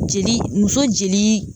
Jeli muso jeli